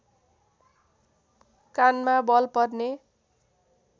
कानमा बल पर्ने